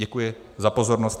Děkuji za pozornost.